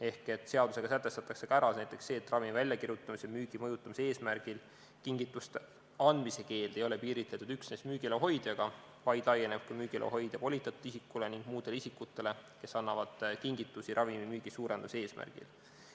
Ehk seadusega sätestatakse ka ära näiteks see, et ravimi väljakirjutamise ja müügi mõjutamise eesmärgil kingituste andmise keeld ei ole piiritletud üksnes müügiloa hoidjaga, vaid laieneb ka müügiloa hoidja volitatud isikule ning muudele isikutele, kes annavad kingitusi ravimimüügi suurendamise eesmärgil.